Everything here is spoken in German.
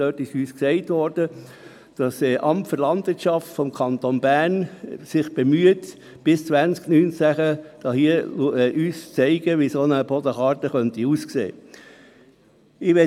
Es wurde uns gesagt, das Amt für Landwirtschaft und Natur des Kantons Bern (LANAT) bemühe sich, uns bis 2019 aufzuzeigen, wie eine Bodenkarte aussehen könnte.